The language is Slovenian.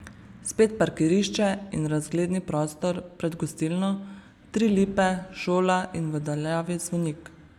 Spet parkirišče in razgledni prostor pred gostilno, tri lipe, šola in v daljavi zvonik.